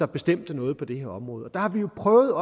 bestemte noget på det her område og der har vi jo prøvet